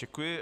Děkuji.